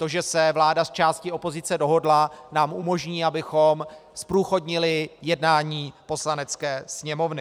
To, že se vláda s částí opozice dohodla, nám umožní, abychom zprůchodnili jednání Poslanecké sněmovny.